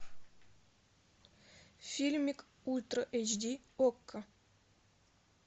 фильмик ультра эйч ди окко